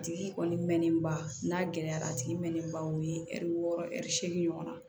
A tigi kɔni mɛnnen ba n'a gɛlɛyara a tigi mɛnnen baw ye ɛri wɔɔrɔ ɛri seegin ɲɔgɔn na